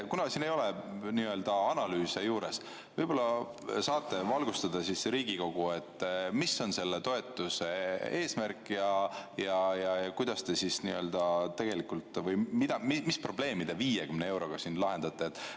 Kuna siin ei ole analüüse juures, võib-olla saate valgustada Riigikogu, mis on selle toetuse eesmärk või mis probleemi te 50 euroga lahendate?